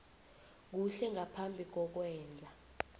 kuhle ngaphambi kokwenza